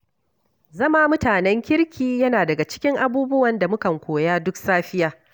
Zama mutanen kirki yana daga cikin abubuwan da mukan koya duk safiya.